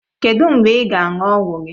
Kedụ mgbe ị ga-aṅụ ọgwụ gị?